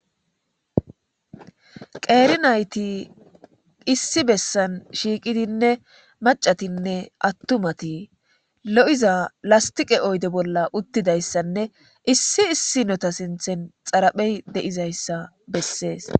qeeri nayti issi bessan shiiqidinne macatinne attumati lo'iza lastiqe oyde bolla uttidayssanne issi issi nota sinthen xaraphey de7izayssa bessees.